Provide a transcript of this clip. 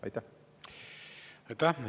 Aitäh!